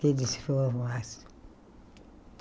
que ele formasse.